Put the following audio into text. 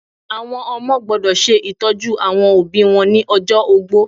Àwọn ọmọ gbọ́dọ̀ se ìtọ́jú àwọn òbí wọn ni ojó ogbó